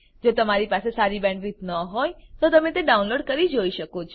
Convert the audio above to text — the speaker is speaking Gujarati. જો તમારી બેન્ડવિડ્થ સારી ન હોય તો તમે ડાઉનલોડ કરી તે જોઈ શકો છો